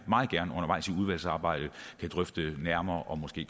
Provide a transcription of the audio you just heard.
meget gerne undervejs i udvalgsarbejdet kan drøfte nærmere og måske